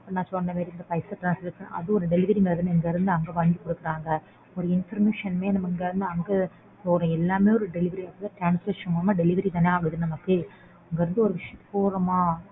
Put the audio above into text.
நான் இப்போ சொன்னமாறி பைசா transaction அதுவும் ஒரு delivery மாறி தான இங்க இருந்து அங்க வாங்கி குடுக்கறாங்க ஒரு information மே இங்க இருந்து அங்க போணும்எல்லாமே ஒரு delivery transaction மூலமா delivery தான ஆகுது நமக்கு. இங்க இருந்து ஒரு விஷயத்துக்கு போறமா.